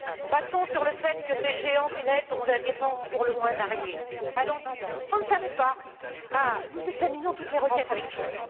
Passons sur le fait que ces géants du net ont des défenses pour le moins variées, allant du on ne savait pas à nous examinons toutes les requêtes avec soin.